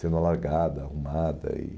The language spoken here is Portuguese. sendo alargada, arrumada e